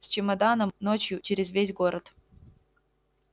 с чемоданом ночью через весь город